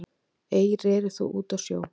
Ei þótt reri út á sjó